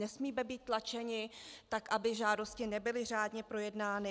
Nesmíme být tlačeni tak, aby žádosti nebyly řádně projednány.